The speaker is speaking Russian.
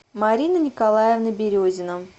марина николаевна березина